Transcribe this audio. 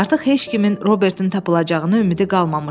Artıq heç kimin Robertin tapılacağına ümidi qalmamışdı.